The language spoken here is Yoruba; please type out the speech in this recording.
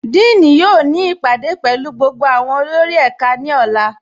Díìní yóò ni ipádé pẹ̀lú gbogbo awọn olórì ẹká ni ọ̀là.